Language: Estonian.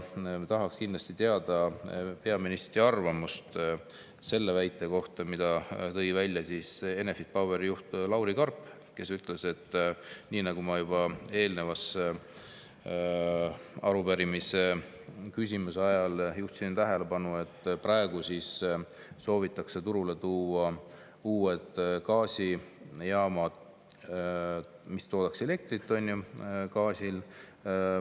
Me tahaksime kindlasti teada peaministri arvamust selle väite kohta, mille tõi välja Enefit Poweri juht Lauri Karp, kes ütles, nii nagu ma juba eelmise arupärimise ajal juhtisin tähelepanu, et praegu soovitakse turule tuua uued gaasijaamad, mis toodaks elektrit, eks ole, gaasi abil.